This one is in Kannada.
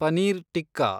ಪನೀರ್ ಟಿಕ್ಕಾ